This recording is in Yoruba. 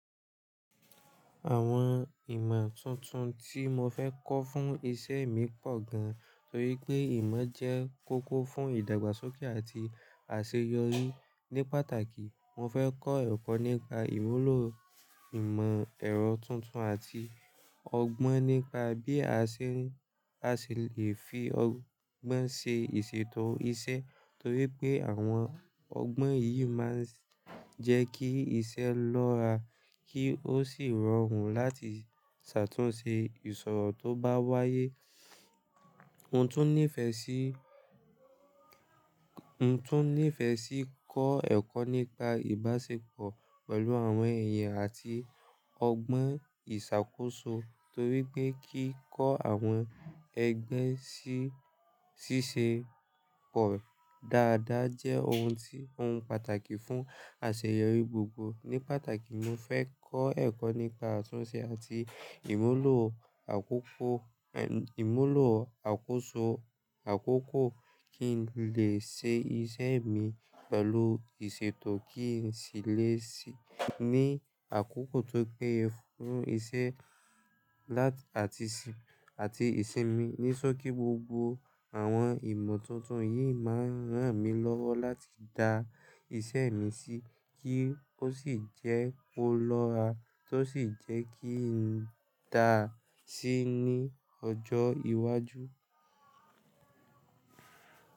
Àwọn ìmọ̀ tuntun tí mo fẹ́ kọ́ fún iṣẹ́ mi pọ̀ gan, torí pé ìmọ̀ jẹ́ kókó fún ìdàgbàsókè àti àṣeyọrí. Ní pàtàkì, mo fẹ́ kọ́ ẹ̀kọ́ nípa ìmúlò ìmọ̀ ẹ̀rọ tuntun àti ọgbọ́n nípa bí a ṣe lè fi ọgbọ́n ṣe ìṣètò iṣẹ́, torí pé àwọn ọgbọ́n yìí máa ń jẹ́ kí iṣẹ́ lọ́ra kí ó sì rọrùn láti ṣàtúnṣe ìṣòro tó bá wáyé. Mo tún nífẹ̀ẹ́ sí, mo tún nífẹ̀ẹ́ sí kọ́ ẹ̀kọ́ nípa ìbáṣepọ̀ pẹ̀lú àwọn èèyàn àti ọgbọ́n ìṣàkóso, torí pé kíkọ́ àwọn ẹgbẹ́ ṣíṣe pọ̀ dáadáa jẹ́ ohun tí ó pàtàkì fún àṣeyọrí gbogbo. Ní pàtàkì, mo fẹ́ kọ́ ẹ̀kọ́ nípa àtúnṣe àti ìmúlò àkókò, ìmúlò àkóso, àkókò, kí n lè ṣe iṣẹ́ mi pẹ̀lú ìṣètò kí n sì lè ṣí ní àkókò tó péye fún iṣẹ́ àti ìṣe mi níṣo kí gbogbo àwọn ìmọ̀ tuntun yìí máa ń rán mi lọ́wọ́ láti dá iṣẹ́ mi sí kí ó sì jẹ́ ó lọ́ra tó sì jẹ́ kí n dá sí ní ọjọ́ iwájú.